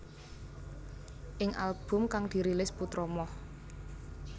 Ing album kang dirilis putra Moh